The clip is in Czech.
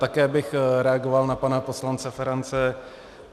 Také bych reagoval na pana poslance Ferance.